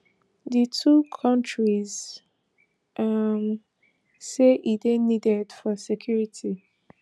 di two kontris um say e dey needed for security